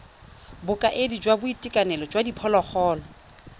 bokaedi jwa boitekanelo jwa diphologolo